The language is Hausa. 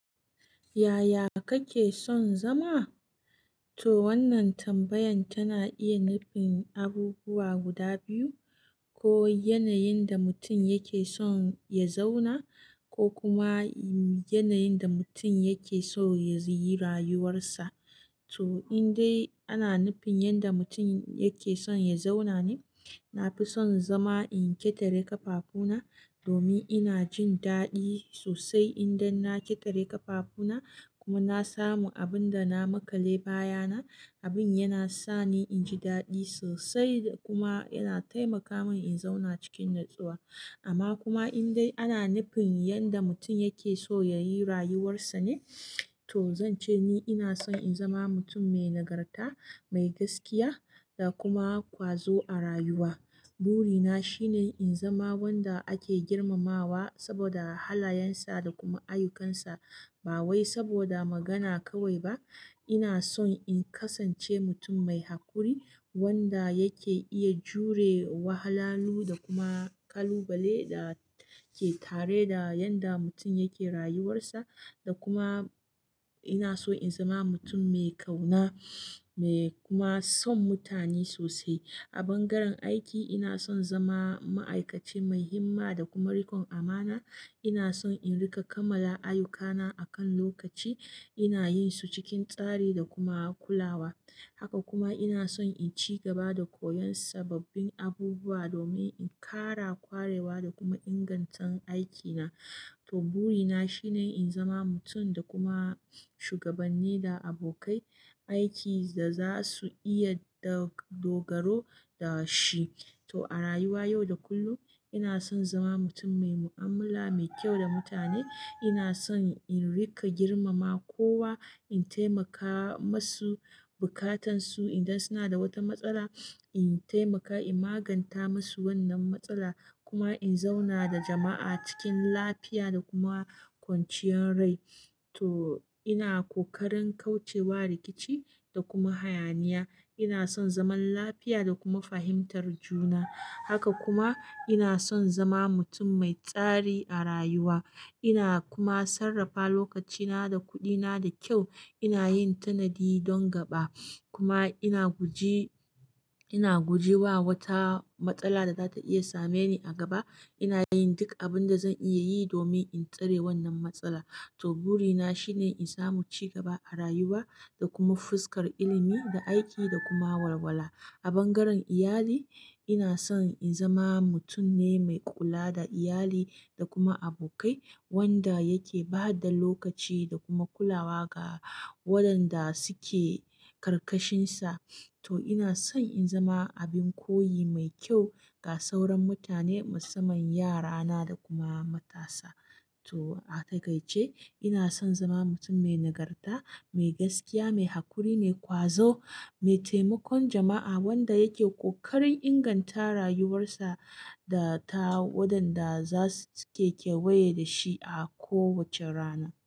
Yaya kake son zama? To wannan tambayan tana iya nufin abubuwa guda biyu, ko yanayin da mutum yake son ya zauna ko kuma yanayin da mutum yake so ya yi rayuwarsa. To in dai ana nufin yadda mutum yake son ya zauna ne, na fi son zama in ƙetare ƙafafuna domin ina jin daɗi sosai idan na ƙetare ƙafafuna kuma na samu abin da na maƙale baya na. Abin yana sa ni in ji daɗi sosai kuma yana taimaka min in zauna cikin natsuwa. Amma kuma in dai ana nufin yadda mutum yake so ya yi rayuwarsa ne, to zan ce ni ina son in zama mutum mai nagarta, mai gaskiya da kuma kwazo a rayuwa. Buri na shine in zama wanda ake girmamawa saboda halayensa da kuma ayyukansa ba wai saboda magana kawai ba. Ina son in kasance mutum mai haƙuri wanda yake iya jure wahalhalu da kuma kalubale da ke tare da yanda mutum yake rayuwarsa. Da kuma ina so in zama mutum mai ƙauna mai kuma son mutane sosai. A ɓangaren aiki ina son zama ma'aikaci mai himma da kuma riƙon amana. Ina son in riƙa kammala ayyukana akan lokaci, ina yin su cikin tsari da kuma kulawa. Haka kuma ina son in ci gaba da koyon sababbin abubuwa domin in ƙara kwarewa da kuma inganta aikina. To buri na shine in zama mutum da kuma shugabanni da abokai aiki da za su iya dogaro da shi. To a rayuwa yau da kullum ina son zama mutum mai mu'amala mai kyau da mutane. Ina son in riƙa girmama kowa, in taimaka masu buƙatansu idan suna da wata matsala, in taimaka in maganta masu wannan matsala kuma in zauna da jama'a cikin lafiya da kuma kwanciyar rai. To ina ƙoƙarin kauce wa rikici da kuma hayaniya. Ina son zaman lafiya da kuma fahimtar juna. Haka kuma ina son zama mutum mai tsari a rayuwa. Ina kuma sarrafa lokacina da kuɗina da kyau. Ina yin tanadi don gaba kuma ina guji, ina guje wa wata matsala da za ta iya same ni a gaba. Ina yin duk abin da zan iya yi domin in tsare wannan matsala. To buri na shine in samu ci gaba a rayuwa da kuma fuskar ilimi da aiki da kuma walwala. A ɓangaren iyali ina son in zama mutum ne mai kula da iyali da kuma abokai wanda yake ba da lokaci da kuma kulawa ga waɗanda suke ƙarƙashin sa. To ina son in zama abin koyi mai kyau ga sauran mutane musamman yarana da kuma matasa. To a takaice ina son zama mutum mai nagarta, mai gaskiya, mai haƙuri ne, kwazo, mai taimakon jama'a wanda yake ƙoƙarin inganta rayuwarsa da ta waɗanda za su ke kewaye da shi a kowace rana.